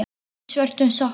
Hún er í svörtum sokkum.